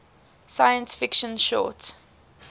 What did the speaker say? science fiction short